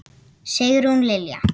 Sigrún Lilja.